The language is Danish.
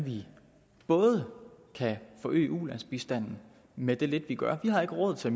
vi både kan forøge ulandsbistanden med det lidt vi gør vi har ikke råd til at